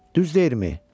Düz deyirmi?